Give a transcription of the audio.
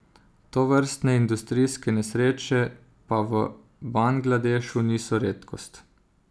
Tovrstne industrijske nesreče pa v Bangladešu niso redkost.